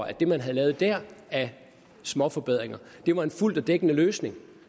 at det man havde lavet der af småforbedringer var en fuldt dækkende løsning